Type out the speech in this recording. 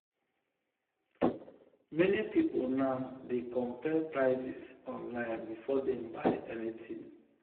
meni pipul now dey compare prices online before dem buy anything.